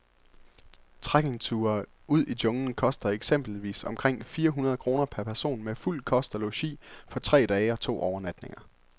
Trekkingture ud i junglen koster eksempelvis omkring fire hundrede kroner per person med fuld kost og logi for tre dage og to overnatninger.